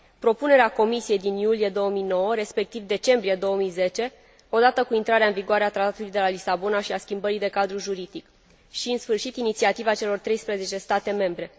propunerea Comisiei din iulie 2009, respectiv decembrie 2010, odată cu intrarea în vigoare a Tratatului de la Lisabona și a schimbării de cadru juridic și, în sfârșit, inițiativa celor treisprezece state membre.